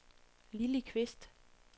Lilli Qvist